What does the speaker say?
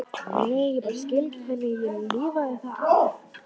Nei, ég bara skil ekki hvernig ég lifði það af.